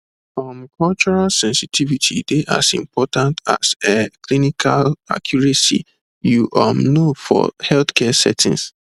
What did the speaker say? um cultural sensitivity dey as important as um clinical accuracy you um know for healthcare settings